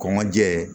Kɔnkɔ jɛɛ